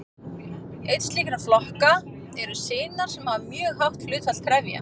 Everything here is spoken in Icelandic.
Einn slíkra flokka eru sinar sem hafa mjög hátt hlutfall trefja.